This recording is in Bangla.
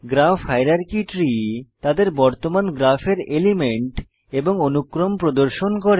গ্রাফ হায়ারার্কি ট্রি তাদের বর্তমান গ্রাফের এলিমেন্ট এবং অনুক্রম প্রদর্শন করে